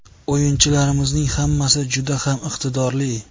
O‘yinchilarimizning hammasi juda ham iqtidorli.